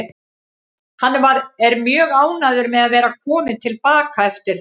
Hann er mjög ánægður með að vera kominn til baka eftir það.